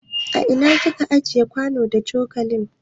A ina kika ajiye kwano da coƙali?